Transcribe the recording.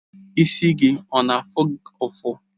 Isi gị ọ na-afụ ụfụ?